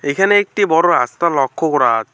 এখানে একটি বড় রাস্তা লক্ষ্য করা--